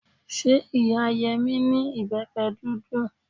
Ṣé ìyá Yẹmí ní ìbẹ́pẹ dúdú?